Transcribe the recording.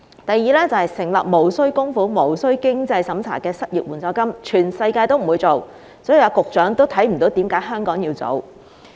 第二，成立無須供款無須經濟審查的失業援助金，全世界不會做，局長亦看不到為甚麼香港要做。